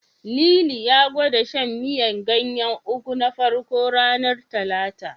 Lili ya gwada shan miyar ganyen Ugu na farko, ranar Talata.